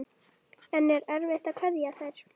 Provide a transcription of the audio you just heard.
En er erfitt að kveðja þær?